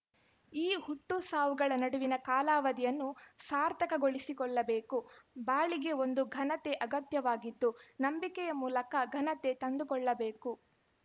ಈ ಹುಟ್ಟು ಸಾವುಗಳ ನಡುವಿನ ಕಾಲಾವಧಿಯನ್ನು ಸಾರ್ಥಕಗೊಳಿಸಿಕೊಳ್ಳಬೇಕು ಬಾಳಿಗೆ ಒಂದು ಘನತೆ ಅಗತ್ಯವಾಗಿದ್ದು ನಂಬಿಕೆಯ ಮೂಲಕ ಘನತೆ ತಂದುಕೊಳ್ಳಬೇಕು